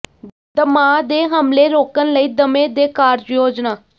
ਦਮਾ ਦੇ ਹਮਲੇ ਰੋਕਣ ਲਈ ਦਮੇ ਦੇ ਕਾਰਜ ਯੋਜਨਾ